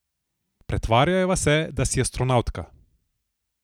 Pretvarjajva se, da si astronavtka.